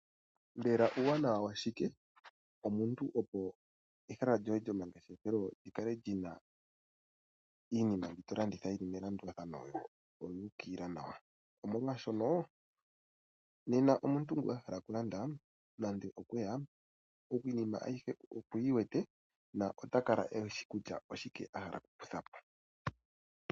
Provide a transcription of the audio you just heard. Mbela uuwanawa washike omuntu opo ehala lyoye lyomangeshefelo li kale lyi na iinima mbi to landitha yi li melandulatha yo oyu ukilila nawa? Omolwashono nena omuntu ngoka a hala okulanda nando okweya, iinima ayihe okuyi wete na ota kala e wete kutya oshike a hala oku kutha po.